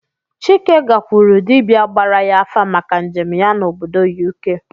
Chike gakwuru dibịa gbara ya afa maka njem ya n'obodo U.K